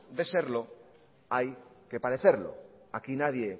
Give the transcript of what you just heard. de serlo hay que parecerlo aquí nadie